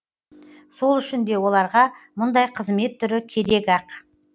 сол үшін де оларға мұндай қызмет түрі керек ақ